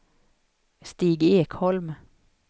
Stig Ekholm